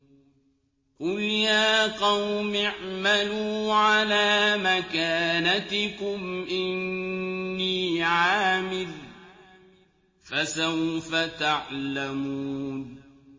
قُلْ يَا قَوْمِ اعْمَلُوا عَلَىٰ مَكَانَتِكُمْ إِنِّي عَامِلٌ ۖ فَسَوْفَ تَعْلَمُونَ